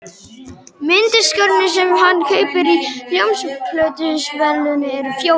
Mynddiskarnir sem hann kaupir í hljómplötuversluninni eru fjórir.